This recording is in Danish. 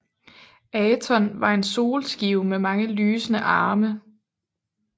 Aton var en solskive med mange lysende arme